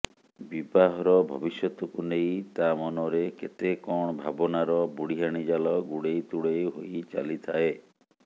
ବିବାହର ଭବିଷ୍ୟତକୁ ନେଇ ତା ମନରେ କେତେକଣ ଭାବନାର ବୁଢିଆଣି ଜାଲ ଗୁଡେଇ ତୁଡେଇ ହୋଇ ଚାଲିଥାଏ